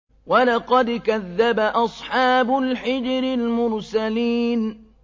وَلَقَدْ كَذَّبَ أَصْحَابُ الْحِجْرِ الْمُرْسَلِينَ